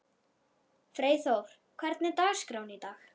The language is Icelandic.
Freyþór, hvernig er dagskráin í dag?